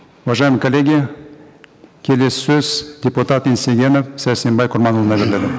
уважаемые коллеги келесі сөз депутат еңсегенов сәрсенбай құрманұлына беріледі